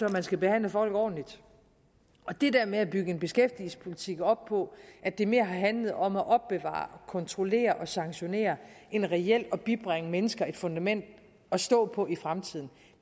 at man skal behandle folk ordentligt og det med at bygge en beskæftigelsespolitik op på at det mere handler om at opbevare kontrollere og sanktionere end reelt at bibringe mennesker et fundament at stå på i fremtiden